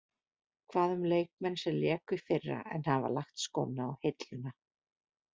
Hvað um leikmenn sem léku í fyrra en hafa lagt skóna á hilluna.